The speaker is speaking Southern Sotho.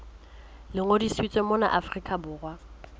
le ngodisitsweng mona afrika borwa